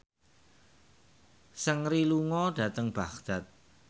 Seungri lunga dhateng Baghdad